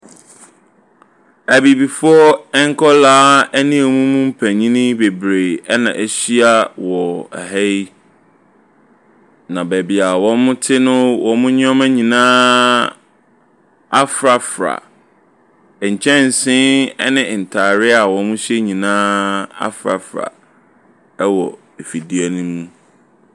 Abibifoɔ nkwadaa ne mu mpanin bebree na ahyia wɔ ha yi, na baabi a wɔte no, wɔn nneɛma nyinaa afrafra. Nkyɛnse ne ntareɛ a wɔhyɛ nyinaa afrafra wɔ afidie no mu.